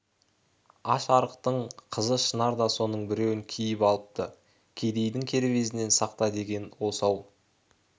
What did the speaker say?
аш-арықтың қызы шынар да соның біреуін киіп алыпты кедейдің кербезінен сақта деген осы-ау